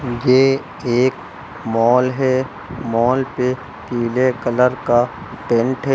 ये एक मॉल है। मॉल पे पीले कलर का पेंट है।